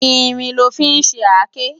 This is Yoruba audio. Irin lò fi n ṣé àké